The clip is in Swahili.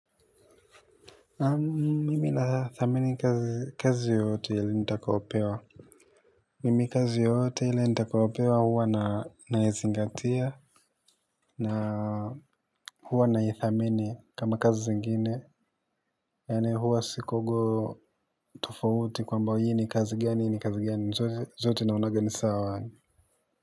Mimi na thamini kazi yoyote yale nitakaopewa mimi kazi yoyote ile nitakaopewa huwa naizingatia na huwa naithamini kama kazi zingine yanaye huwa si kogo tofauti kwamba hii ni kazi gani hii ni kazi gani zote naonaga ni sawa yaani.